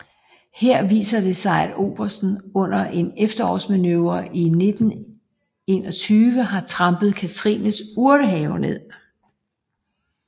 Her viser det sig at obersten under en efterårsmanøvre i 1921 har trampet Katrines urtehave ned